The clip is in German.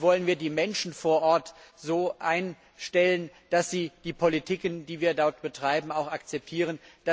Wie wollen wir die Menschen vor Ort so einstellen, dass sie die Politiken, die wir dort betreiben, auch akzeptieren?